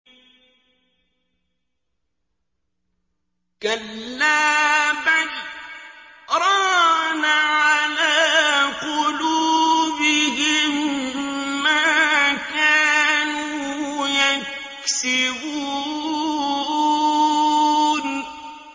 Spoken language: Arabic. كَلَّا ۖ بَلْ ۜ رَانَ عَلَىٰ قُلُوبِهِم مَّا كَانُوا يَكْسِبُونَ